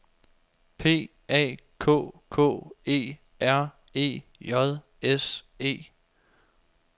P A K K E R E J S E